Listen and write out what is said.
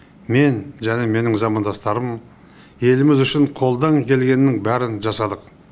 мен және менің замандастарым еліміз үшін қолдан келгеннің бәрін жасадық